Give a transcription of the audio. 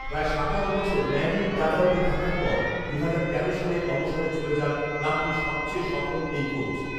প্রায় সাতাশ বছর ম্যানইউর ডাগআউটে থাকার পর দু'হাজার তেরো সালে অবসরে চলে যান ক্লাবটির সবচেয়ে সফল এই কোচ